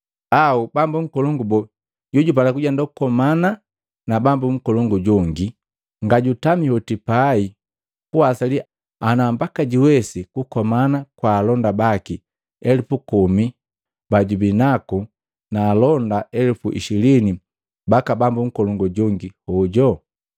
Au bambu nkolongu boo jojupala kujenda kukomana na bambu nkolongu jongi, nga jutami hoti pai kuwasali ana mbaka juwesi kukomana kwa alonda baki elupu komi bajubinaku na alonda elupu ishilini baka bambu nkolongu jongi hoju?